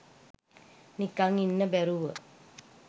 නිකන් ඉන්න බැරුව